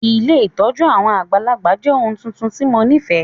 Ilé ìtójú àwon àgbàlagbà jẹ oun tuntun ti mo nifẹ.